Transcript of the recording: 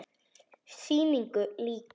Sýningu lýkur.